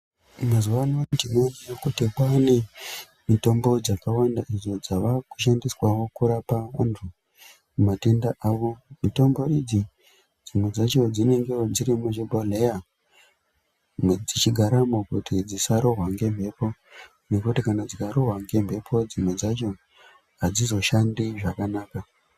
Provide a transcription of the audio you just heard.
Mazuvano tinoona kuti kwava nemitombo dzakawanda idzo dzava kushandiswawo kurapa antu matenda avo. Mitombo idzi dzimwe dzacho dzinengewo dziri muzvibhodhleya dzichigaramo kuti dzisarohwa ngembepo, ngekuti kana dzikarohwa ngembepo dzimwe dzacho hadzizoshandi zvakanaka.